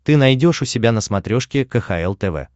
ты найдешь у себя на смотрешке кхл тв